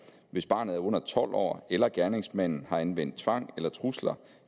hvis barnet er under tolv år eller gerningsmanden har anvendt tvang eller trusler